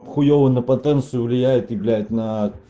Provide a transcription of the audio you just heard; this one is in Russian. хуевый на потенцию влияет и блять на